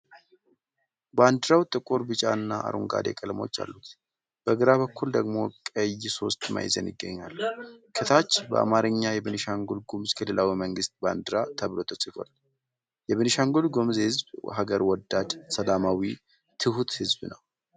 ባንዲራው ጥቁር፣ ቢጫና አረንጓዴ ቀለሞች አሉት። በግራ በኩል ደግሞ ቀይ ሶስት ማዕዘን ይገኛል። ከታች በአማርኛ "የቤኒሻንጉል-ጉምዝ ክልላዊ መንግስት ባንዲራ" ተብሎ ተጽፏል። የቤንሻንጉል-ጉምዝ ህዝብ ሀገር ወዳድ፣ ሰላማዊ፣ ትሁት ህዝብ ነው ።